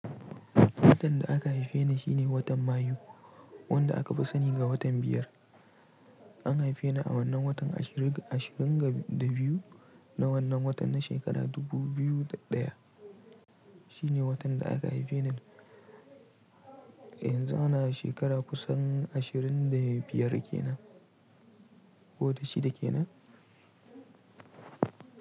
Watan da aka haife ni shine watan Mayu, wanda aka fi sani da watan biyar. An haife ni a wannan watan ashirin da biyu na wannan watan na shekara dubu biyu da ɗaya. Shine watan da aka haife ni. Yanzu ana shekara kusan ashirin da biyar ke nan, ko da shida ke nan.